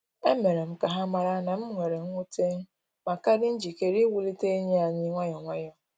E mere m ka ha mara na m were nwute, ma ka dị njikere iwulite enyi anyi nwayọ nwayọ